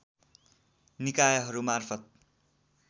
निकायहरूमार्फत